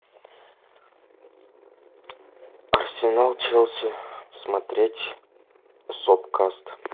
арсенал челси смотреть сопкаст